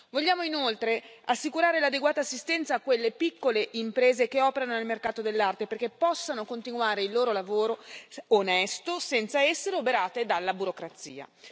Vogliamo inoltre assicurare l'adeguata assistenza a quelle piccole imprese che operano nel mercato dell'arte perché possano continuare il loro lavoro onesto senza essere oberate dalla burocrazia.